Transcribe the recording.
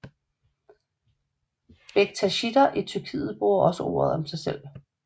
Bektashitter i Tyrkiet bruger også ordet om sig selv